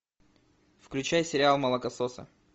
включай сериал молокососы